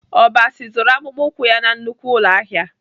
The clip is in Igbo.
Obasi zụrụ akpụkpọ ụkwụ ya na nnukwu ụlọahịa